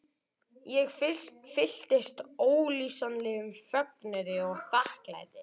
Ég fylltist ólýsanlegum fögnuði og þakklæti.